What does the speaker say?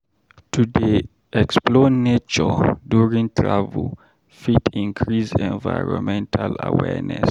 To dey explore nature during travel fit increase environmental awareness.